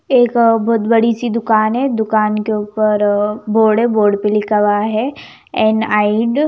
एक बहोत बड़ी सी दुकान है दुकान के ऊपर बोर्ड है बोर्ड पर लिखा हुआ है एन आईड --